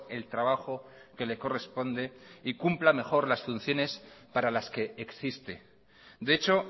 el trabajo que le corresponde y cumpla mejor las funciones para las que existe de hecho